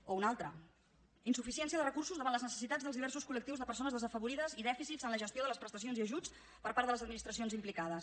o un altre insuficiència de recursos davant les necessitats dels diversos col·lectius de persones desafavorides i dèficits en la gestió de les prestacions i ajuts per part de les administracions implicades